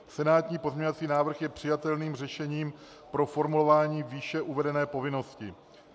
Senátní pozměňovací návrh je přijatelným řešením pro formulování výše uvedené povinnosti.